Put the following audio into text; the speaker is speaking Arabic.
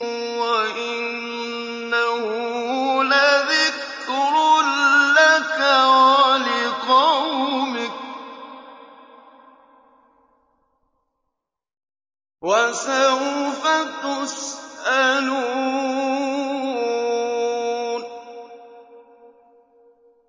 وَإِنَّهُ لَذِكْرٌ لَّكَ وَلِقَوْمِكَ ۖ وَسَوْفَ تُسْأَلُونَ